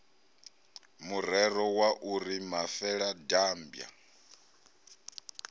murero wa u ri mafeladambwa